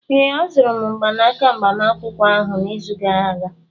Ee, azụrụ m mgbanaka agbamakwụkwọ ahụ n'izu gara aga